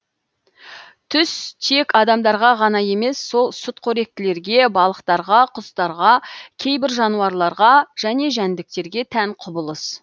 түс тек адамдарға ғана емес ол сүтқоректілерге балықтарға құстарға кейбір жануарларға және жәндіктерге тән құбылыс